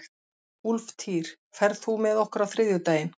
Úlftýr, ferð þú með okkur á þriðjudaginn?